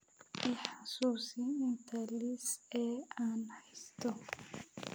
i xasuusi inta liis ee aan haysto